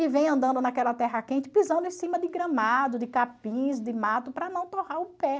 e vem andando naquela terra quente, pisando em cima de gramado, de capins, de mato, para não torrar o pé.